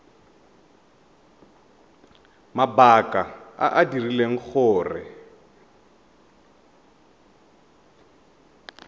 mabaka a a dirileng gore